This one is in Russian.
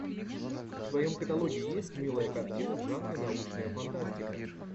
в твоем каталоге есть милая картина в жанре научная фантастика